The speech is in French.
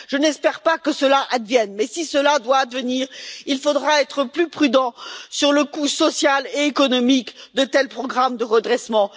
Je n'espère pas que cela advienne, mais si cela doit advenir, il faudra être plus prudent sur le coût social et économique de tels programmes de redressement.